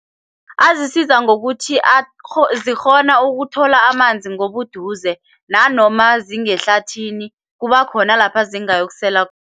Azisiza ngokuthi zikghona ukuthola amanzi ngobuduze nanoma zingemahlathini kuba khona lapha zingayokusela